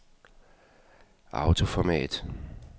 autoformat